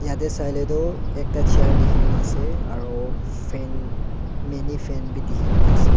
yate sailey toh ekta chair dekhina ase aru fan minifan dekhina ase.